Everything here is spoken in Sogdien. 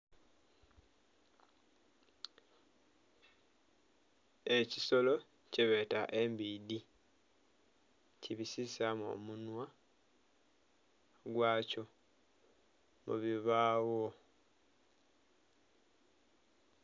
Ekisolo kyebeta embidhi kibisisamu omunhwa gwakyo mubibagho.